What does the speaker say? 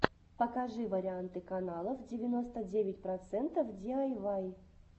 покажи варианты каналов девяносто девять процентов диайвай